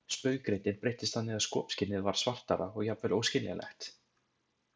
Spauggreindin breyttist þannig að skopskynið varð svartara og jafnvel óskiljanlegt.